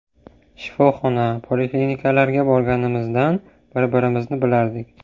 Shifoxona, poliklinikalarga borganimizdan bir-birimizni bilardik.